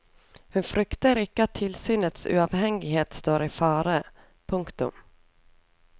Hun frykter ikke at tilsynets uavhengighet står i fare. punktum